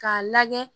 K'a lajɛ